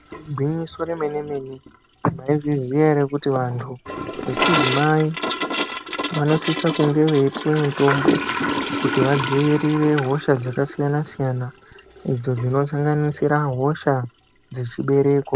Igwinyiso remene-mene maizviziva here kuti vantu vechidzimai vanosisa kunge veipuwa mutombo kuti vadzivirire hosha dzakasiyana-siyana idzo dzino sanganirisa hosha dzechibereko.